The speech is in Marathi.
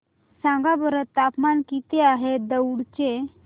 सांगा बरं तापमान किती आहे दौंड चे